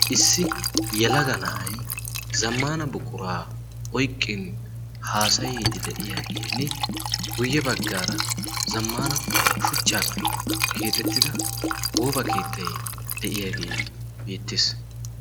issi yelaga na'ay zammana buquraa oyqqin haasayiiddi de'iyaagienn guyye baggaara zammana shuchchaappe keexettida gooba keettai de'iyaagee beettiis